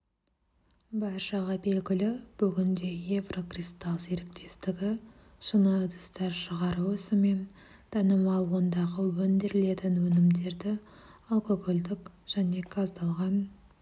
баршаға белгілі бүгінде еврокристалл серіктестігі шыны ыдыстар шығару ісімен танымал ондағы өндірілетін өнімдерді алкогольдік және газдалған